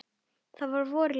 Það er vor í lofti.